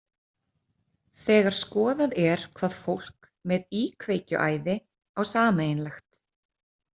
Þegar skoðað er hvað fólk með íkveikjuæði á sameiginlegt.